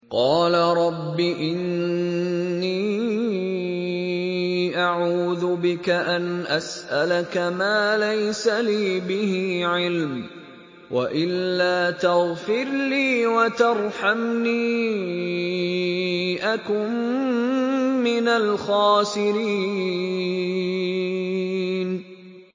قَالَ رَبِّ إِنِّي أَعُوذُ بِكَ أَنْ أَسْأَلَكَ مَا لَيْسَ لِي بِهِ عِلْمٌ ۖ وَإِلَّا تَغْفِرْ لِي وَتَرْحَمْنِي أَكُن مِّنَ الْخَاسِرِينَ